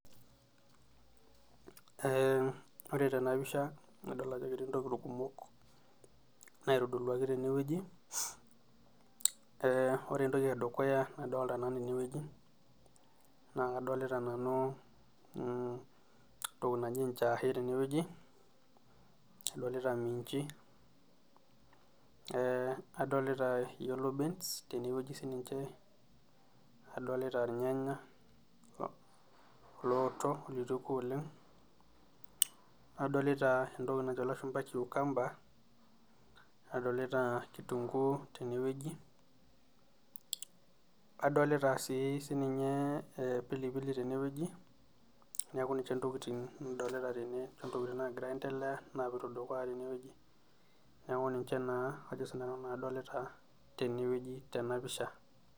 Ee ore tenapisha nadol ajo ketii ntokitin kumok naitodoluakibtenwwueji ore entoki edukuya nadolta nanu tenewueji na entoki naji njahe, adolta minju, adolta yellow beans tenewueji sininche adolta irnyanya ooto lituoko olong nadolta entoki nanjo cucumber tenewueji ,adolta si sininye pilipili tene neaku ninche ntokitin nagira aendelea neaku ninche na ajo sinanu adolita.